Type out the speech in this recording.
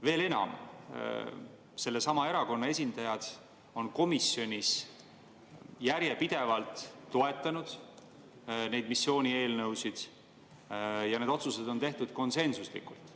Veel enam, sellesama erakonna esindajad on komisjonis järjepidevalt toetanud neid missioonieelnõusid ja otsused on tehtud konsensuslikult.